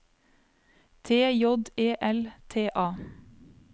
T J E L T A